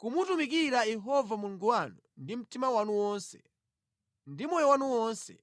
kumutumikira Yehova Mulungu wanu ndi mtima wanu wonse, ndi moyo wanu wonse,